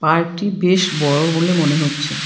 পার্কটি বেশ বড়ো বলে মনে হচ্ছে।